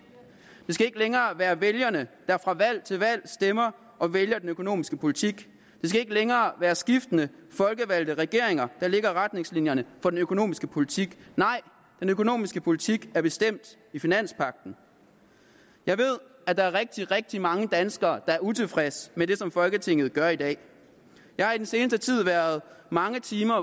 det skal ikke længere være vælgerne der fra valg til valg stemmer og vælger den økonomiske politik det skal ikke længere være skiftende folkevalgte regeringer der lægger retningslinjerne for den økonomiske politik nej den økonomiske politik er bestemt i finanspagten jeg ved at der er rigtig rigtig mange danskere der er utilfredse med det som folketinget gør i dag jeg har i den seneste tid været mange timer